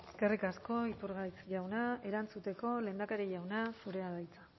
eskerrik asko iturgaiz jauna erantzuteko lehendakari jauna zurea da hitza